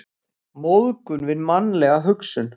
Móðgun við mannlega hugsun.